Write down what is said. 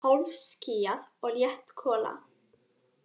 Hálfskýjað og létt gola